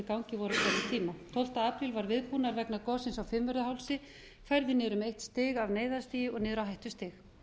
gangi voru á hverjum tíma tólfta apríl var aðbúnaður vegna gossins á fimmvörðuhálsi færður niður um eitt stig af neyðarstigi og niður á hættustig